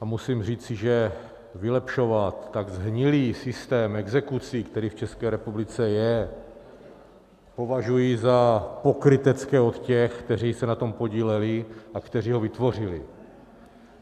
a musím říci, že vylepšovat tak shnilý systém exekucí, který v České republice je, považuji za pokrytecké od těch, kteří se na tom podíleli a kteří ho vytvořili.